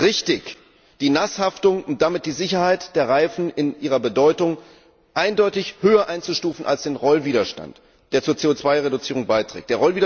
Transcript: Es ist richtig, die Nasshaftung und damit die Sicherheit der Reifen in ihrer Bedeutung eindeutig höher einzustufen als den Rollwiderstand, der zur CO 2 Reduzierung beiträgt.